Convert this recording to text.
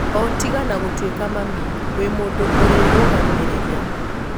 O tiga na gũtuĩka mami, wi mũndũ ũrirũgamirira."